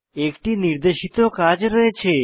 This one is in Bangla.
একটি নির্দেশিত কাজ রয়েছে